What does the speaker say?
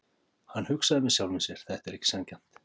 Hann hugsaði með sjálfum sér: Þetta er ekki sanngjarnt.